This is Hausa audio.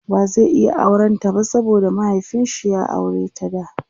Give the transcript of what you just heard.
ba zai iya auran ta ba saboda mahiaifinshi ya aureta da